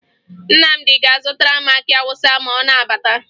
Nnamdị ga-azụtara m akị Awụsa ma ọ na-abata